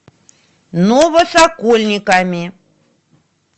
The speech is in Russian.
новосокольниками